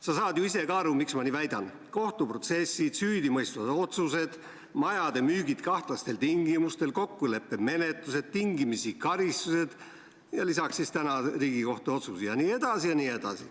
Sa saad ju ise ka aru, miks ma nii väidan: kohtuprotsessid, süüdimõistvad otsused, majade müük kahtlastel tingimustel, kokkuleppemenetlused, tingimisi karistused, lisaks täna Riigikohtu otsus jne.